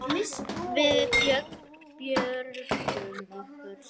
Við björgum okkur.